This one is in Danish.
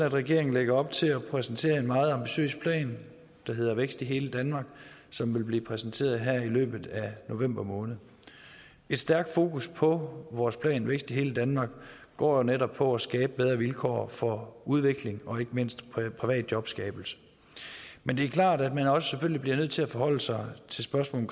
at regeringen lægger op til at præsentere en meget ambitiøs plan der hedder vækst i hele danmark som vil blive præsenteret her i løbet af november måned et stærkt fokus på vores plan vækst i hele danmark går jo netop på at skabe bedre vilkår for udvikling og ikke mindst privat jobskabelse men det er klart at man selvfølgelig også bliver nødt til at forholde sig til spørgsmålet